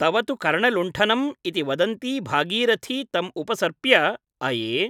तव तु कर्णलुण्ठनम् ' इति वदन्ती भागीरथी तम् उपसर्प्य अये ।